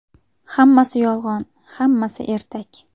Hammasi yolg‘on, hammasi ertak.